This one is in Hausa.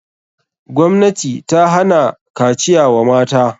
Gwamnati ta hana kaciya wa mata.